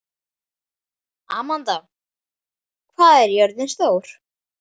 Amanda, hvað er jörðin stór?